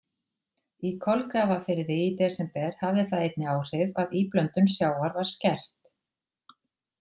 Í Kolgrafafirði í desember hafði það einnig áhrif að íblöndun sjávar var skert.